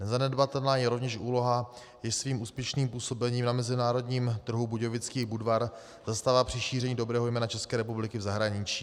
Nezanedbatelná je rovněž úloha, jež svým úspěšným působením na mezinárodním trhu budějovický Budvar zastává při šíření dobrého jména České republiky v zahraničí.